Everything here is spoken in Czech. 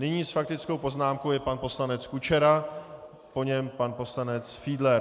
Nyní s faktickou poznámkou je pan poslanec Kučera, po něm pan poslanec Fiedler.